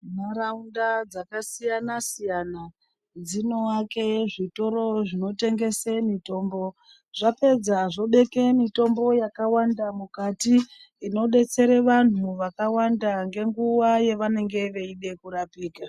Ntaraunda dzakasiyana siyana dzinoake zvitoro zvinotengesa mitombo. Zvapedza zvobeke mitombo yakawanda mukati inodetsere vantu vakawanda nenguwa yavanenge veida kurapika.